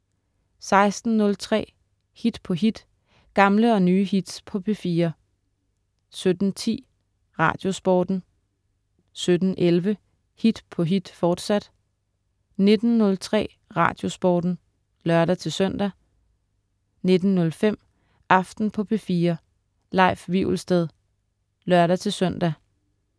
16.03 Hit på hit. Gamle og nye hits på P4 17.10 Radiosporten 17.11 Hit på hit, fortsat 19.03 Radiosporten (lør-søn) 19.05 Aften på P4. Leif Wivelsted (lør-søn)